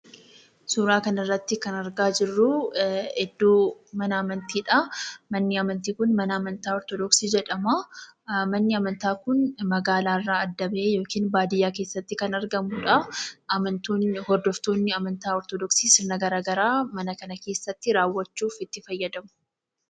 Suuraa kana irratti kan arga jiruu, idoo mana Amantiidha. Manni Amantii kun "Mana Amantaa Ortodoksii" jedhaama. Manni Amanataa kun Magalaa irra adda ba'e yookiin Badiyaa keessatti kan argamudha. Hordoftonni Amantaa Ortodoksii sirna gara agaraa mana kana keessatti rawwachuudhaaf itti faayadamu.